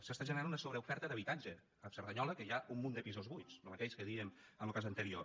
s’està generant una sobreoferta d’habitatge a cerdanyola que hi ha un munt de pisos buits lo mateix que dèiem en lo cas anterior